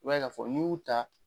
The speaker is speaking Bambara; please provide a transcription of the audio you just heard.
I b'a ye k'a fɔ n'i y'u ta